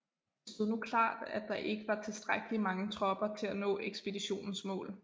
Det stod nu klart at der ikke var tilstrækkelig mange tropper til at nå ekspeditionens mål